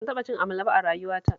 Ban taɓa cin amala ba a rayuwata